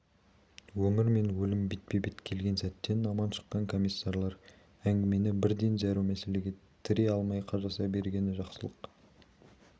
өмір мен өлім бетпе-бет келген сәттен аман шыққан комиссарлар әңгімені бірден зәру мәселеге тірей алмай қажаса бергені жақсылық